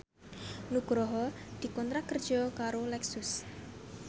Nugroho dikontrak kerja karo Lexus